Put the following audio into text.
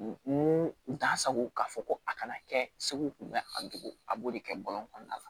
N u t'a sago k'a fɔ ko a kana kɛ seko kun bɛ a don a b'o de kɛ bɔlɔn kɔnɔna la